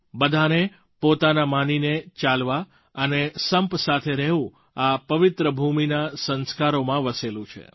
બધાને પોતાના માનીને ચાલવા અને સંપ સાથે રહેવું આ પવિત્રભૂમિના સંસ્કારોમાં વસેલું છે